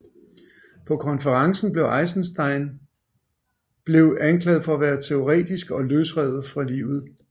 På konferencen blev Eisenstein blev anklaget for at være teoretisk og løsrevet fra livet